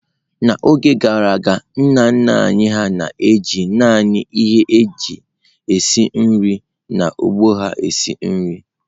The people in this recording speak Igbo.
N’oge gara aga, nna nna anyị hà na-eji naanị ihe ndị e ji esi nri n’ógbè ha esi nri.